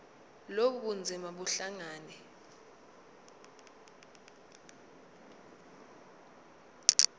lobu bunzima buhlangane